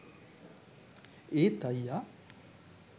ඒත් අයියා